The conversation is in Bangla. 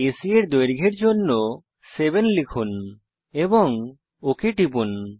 এসি এর দৈর্ঘ্যের জন্য 7 লিখুন এবং ওক টিপুন